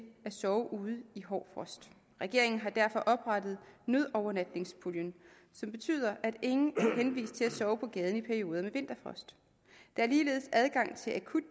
sove ude i hård frost regeringen har derfor oprettet nødovernatningspuljen som betyder at ingen er henvist til at sove på gaden i perioder med vinterfrost der er ligeledes adgang til akut